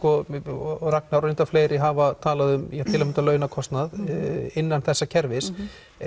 og og Ragnar og fleiri hafa talað um til að mynda launakostnað innan þessa kerfis